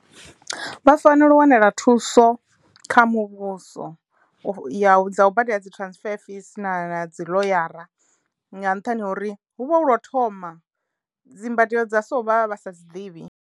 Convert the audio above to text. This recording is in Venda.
Vha fanelo u wanela thuso kha muvhuso u ya dza u badela dzi transfer fees na dzi ḽoyara nga nṱhani ha uri hu vha hu lwo u thoma dzimbadelo dza so vha vha sa dzi ḓivhi.